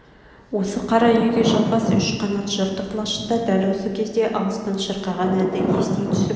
осы қара үйге жалғас үш қанат жыртық лашықта дәл осы кезде алыстан шырқаған әнді ести түсіп